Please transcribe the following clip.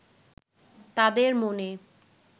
তাঁদের মনে